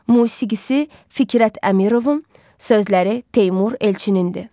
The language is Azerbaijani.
Musiqisi Fikrət Əmirovun, sözləri Teymur Elçininindir.